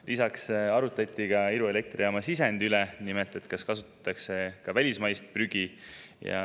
Lisaks arutati Iru elektrijaama sisendi üle, nimelt selle üle, kas seal kasutatakse ka välismaist prügi.